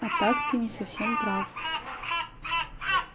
а так ты не совсем прав